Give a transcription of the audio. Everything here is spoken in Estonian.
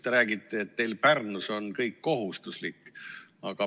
Te räägite, et teil Pärnus on kõik kohustuslik.